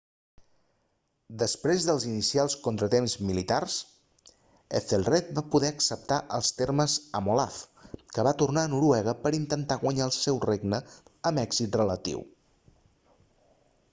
després dels inicials contratemps militars ethelred va poder acceptar els termes amb olaf que va tornar a noruega per a intentar guanyar el seu regne amb un èxit relatiu